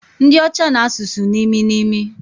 Ndi ocha na asusu nimi nimi